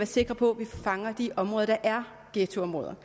sikre på at vi fanger de områder der er ghettoområder